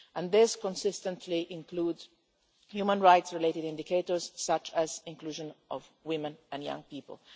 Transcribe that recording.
These consistently include human rights related indicators, such as inclusion of women and young people.